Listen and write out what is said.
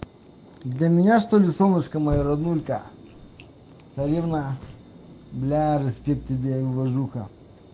для меня что-ли солнышко моё роднулька царевна бля респект тебе и уважуха